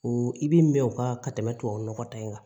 O i bi mɛn o kan ka tɛmɛ tubabu nɔgɔ ta in kan